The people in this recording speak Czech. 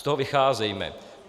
Z toho vycházejme.